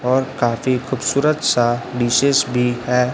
और काफी खूबसूरत सा विशेष भी है।